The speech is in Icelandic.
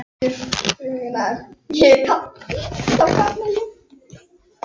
leiðinni milli áfangastaða safnast æ meira í töskuna.